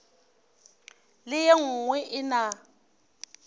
le e nngwe e na